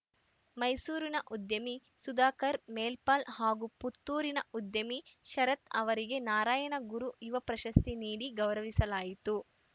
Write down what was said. ಮೈಸೂರಿನ ಉದ್ಯಮಿ ಸುಧಾಕರ್‌ ಮೇಲ್ಪಾಲ್‌ ಹಾಗೂ ಪುತ್ತೂರಿನ ಉದ್ಯಮಿ ಶರತ್‌ ಅವರಿಗೆ ನಾರಾಯಣಗುರು ಯುವ ಪ್ರಶಸ್ತಿ ನೀಡಿ ಗೌರವಿಸಲಾಯಿತು